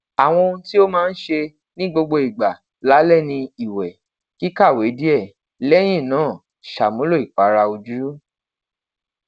awọn ohun ti o maa n ṣe ni gbogbo igba lalẹ ni iwẹ kikawe diẹ lẹyin naa ṣamulo ipara oju